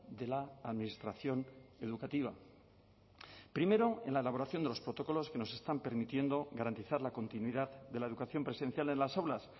de la administración educativa primero en la elaboración de los protocolos que nos están permitiendo garantizar la continuidad de la educación presencial en las aulas